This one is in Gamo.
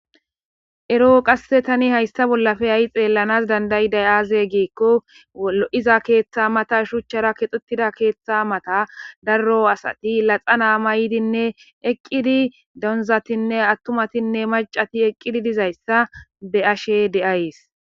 ero qase tani hayssa bollafe ay xeellanas dandayidayi aze giikko lo7iza keeththa mata shuchchara kexutida keeththa mata darro asati laxa naa ma yidinne eqqidi donzatinne attumatinne maccati eqqidi dizayssa beashe de7ays